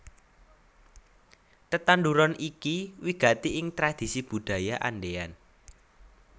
Tetanduran iki wigati ing tradhisi Budaya Andean